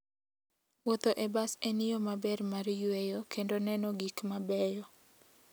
Wuotho e bas en yo maber mar yueyo kendo neno gik mabeyo.